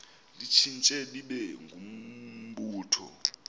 litshintshe libe ngumbutho